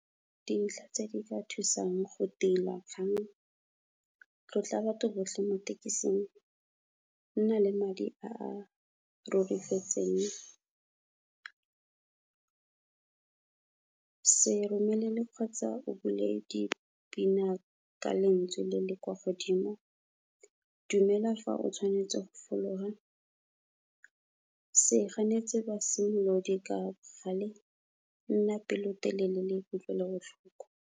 Dintlha tse di ka thusang go tila kgang, tlotla batho botlhe mo thekising, nna le madi a a robegetseng, se romelele kgotsa o bule dipina ka lentswe le le kwa godimo, dumela fa o tshwanetse go fologa, se ganetse basimolodi ka bogale, nna pelotelele le kutlwelobotlhoko.